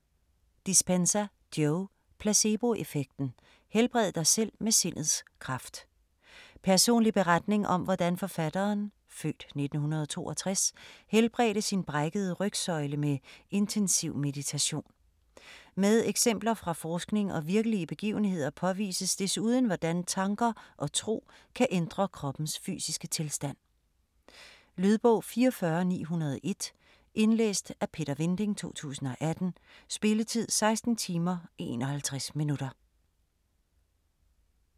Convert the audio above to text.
Dispenza, Joe: Placeboeffekten: helbred dig selv med sindets kraft Personlig beretning om hvordan forfatteren (f. 1962) helbredte sin brækkede rygsøjle med intensiv meditation. Med eksempler fra forskning og virkelige begivenheder påvises desuden hvordan tanker og tro kan ændre kroppens fysiske tilstand. Lydbog 44901 Indlæst af Peter Vinding, 2018. Spilletid: 16 timer, 51 minutter.